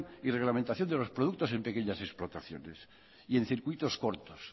y reglamentación de los productos en pequeñas explotaciones y en circuitos cortos